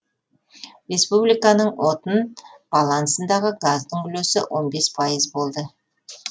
республиканың отын балансындағы газдың үлесі он бес пайыз болды